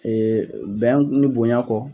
Ee bɛn ni bonya kɔ.